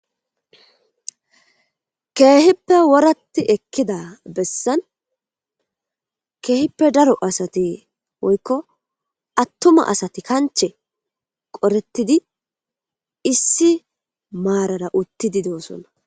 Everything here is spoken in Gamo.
Kehippe woratti ekkida bessan kehippe daro asati woyikko attuma asati kanche qorettidi issi marara uttidi de'osona.